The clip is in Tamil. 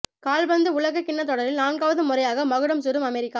கால்பந்து உலகக்கிண்ண தொடரில் நான்காவது முறையாக மகுடம் சூடும் அமெரிக்கா